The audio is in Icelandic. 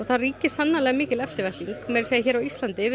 það ríkir sannarlega mikil eftirvænting meira að segja hér á Íslandi